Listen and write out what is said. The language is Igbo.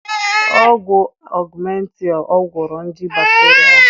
Ọgwụ Augmentin ọ gwọrọ nje bakteria ahụ?